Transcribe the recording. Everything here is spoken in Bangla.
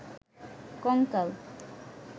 কঙ্কাল